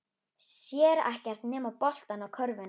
Sér ekkert nema boltann og körfuna.